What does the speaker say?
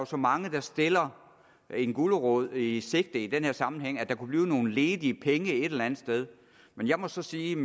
så mange der stiller en gulerod i sigte i den her sammenhæng nemlig at der kunne blive nogle ledige penge et eller andet sted men jeg må så sige